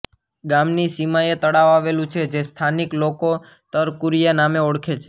ગામની સીમાએ તળાવ આવેલું છે જેને સ્થાનિક લોકો તરકુરીયા નામે ઓળખે છે